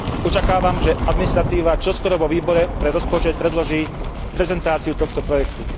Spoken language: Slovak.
Očakávam, že administratíva čoskoro vo Výbore pre rozpočet predloží prezentáciu tohto projektu.